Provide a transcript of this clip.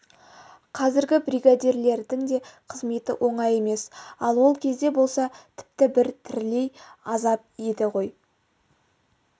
қазіргі бригадирлердің де қызметі оңай емес ал ол кезде болса тіпті бір тірілей азап еді ғой